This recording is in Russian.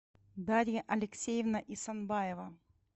дарья алексеевна исанбаева